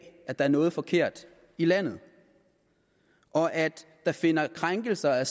at der er noget forkert i landet og at der finder krænkelser af